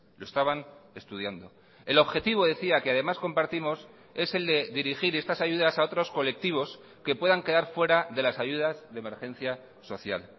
lo estaban estudiando el objetivo decía que además compartimos es el de dirigir estas ayudas a otros colectivos que puedan quedar fuera de las ayudas de emergencia social